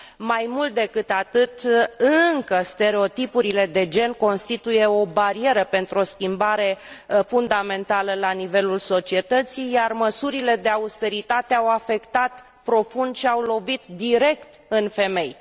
Mai mult decât atât, stereotipurile de gen încă mai constituie o barieră pentru o schimbare fundamentală la nivelul societății, iar măsurile de austeritate au afectat profund și au lovit direct în femei.